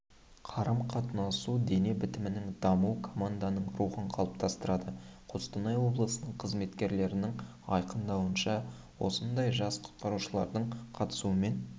қарым-қатынасу дене бітімінің дамуы команданың рухын қалыптастырады қостанай облысының қызметкерлерінің айқындауынша осындай жас құтқарушылардың қатысуымен